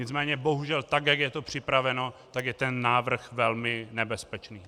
Nicméně bohužel tak, jak je to připraveno, tak je ten návrh velmi nebezpečný.